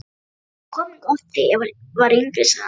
Ég kom hingað oft, þegar ég var yngri sagði hann.